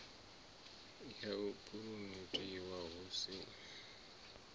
ya u phuromothiwa hu si